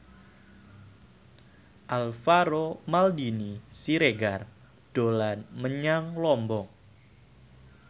Alvaro Maldini Siregar dolan menyang Lombok